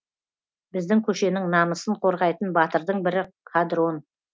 біздің көшенің намысын қорғайтын батырдың бірі қадрон